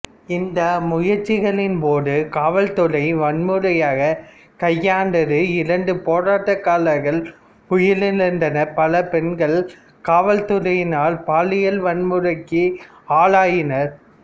இந்த முயற்சிகளின்போது காவல்துறை வன்முறையைக் கையாண்டது இரண்டு போராட்டக்காரர்கள் உயிரிழந்தனர் பல பெண்கள் காவல்துறையினரால் பாலியல் வன்முறைக்கு ஆளாயினர்